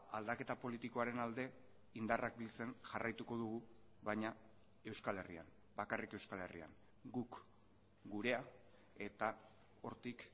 aldaketa politikoaren alde indarrak biltzen jarraituko dugu baina euskal herrian bakarrik euskal herrian guk gurea eta hortik